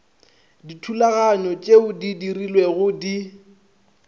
dithulaganyo tpeo di dirilwego di